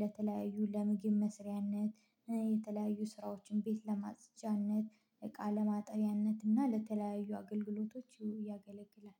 ለተለያዩ ለምግብ መስሪያነት የተለያዩ ስራዎችን ቤት ለማጽጃነት እቃ ለማጠብያነት እና ለተለያዩ አገልግሎቶች ይሁን ያገለግላል